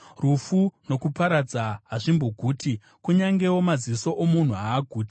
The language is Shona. Rufu nokuparadza hazvimboguti, kunyangewo maziso omunhu haaguti.